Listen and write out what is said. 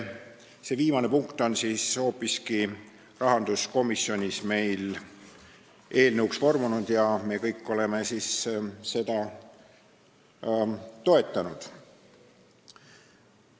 See viimane punkt on hoopiski rahanduskomisjonis eelnõuks vormunud ja me kõik oleme seda toetanud.